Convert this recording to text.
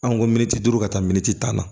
An ko miniti duuru ka taa miniti tan na